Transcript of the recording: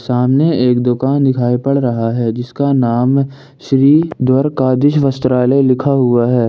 सामने एक दुकान दिखाई पड़ रहा है जिसका नाम श्री द्वारका धीश वस्त्रालय लिखा हुआ है।